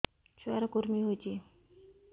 ଛୁଆ ର କୁରୁମି ହୋଇଛି